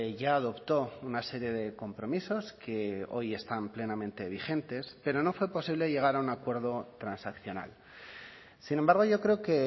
ya adoptó una serie de compromisos que hoy están plenamente vigentes pero no fue posible llegar a un acuerdo transaccional sin embargo yo creo que